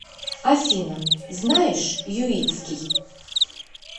афина знаешь юитский